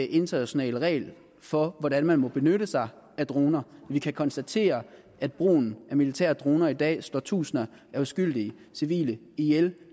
international regel for hvordan man må benytte sig af droner vi kan konstatere at brugen af militære droner i dag slå tusinder af uskyldige civile ihjel